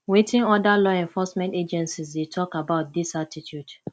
wetin oda law enforcement agencies dey talk about dis attitude